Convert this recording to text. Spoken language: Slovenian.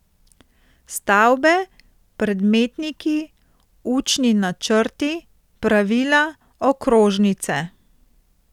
Stavbe, predmetniki, učni načrti, pravila, okrožnice?